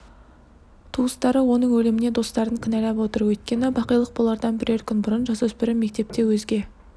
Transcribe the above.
туыстары оның өліміне достарын кінәлап отыр өйткені бақилық болардан бірер күн бұрын жасөспірім мектепте өзге